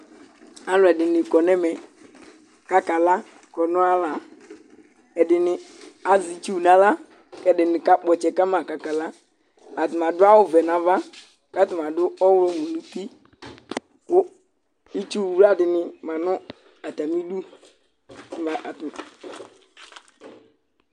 Alʋ ɛdini kɔ n'ɛmɛ k'akala kɔnʋ ayala Ɛdini az'itsu n'aɣla k'ɛdini k'akpɔ ɔtsɛ kama k'akala, adma dʋ awʋ vɛ n'ava k'atani adʋ ɔɣlɔwʋ n'uti, kʋ itsuwla dini ma nʋ atamidu